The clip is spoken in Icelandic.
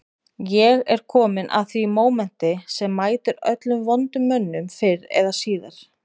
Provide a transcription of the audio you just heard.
Ég er kominn að því mómenti sem mætir öllum vondum mönnum fyrr eða síðar